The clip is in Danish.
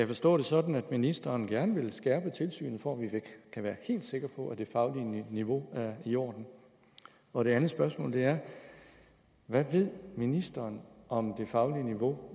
forstå det sådan at ministeren gerne vil skærpe tilsynet for at vi kan være helt sikre på at det faglige niveau er i orden og det andet spørgsmål er hvad ved ministeren om det faglige niveau